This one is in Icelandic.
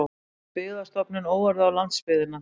Kemur Byggðastofnun óorði á landsbyggðina